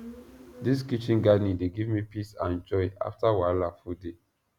this kitchen gardening dey give me peace and joy after wahala full day